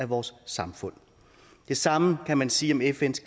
vores samfund det samme kan man sige om fns